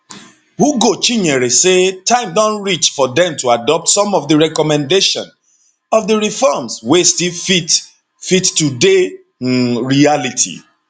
ugochinyere say time don reach for dem to adopt some of di recommendation of di reforms wey still fit fit today um reality